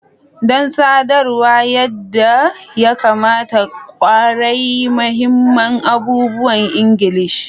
Don sadarwa yadda ya kamata, ƙware mahimman abubuwan Ingilishi.